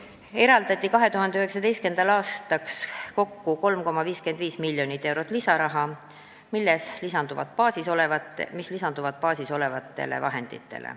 ... eraldati 2019. aastaks kokku 3,55 miljonit eurot lisaraha, mis lisandub baasis olevatele vahenditele.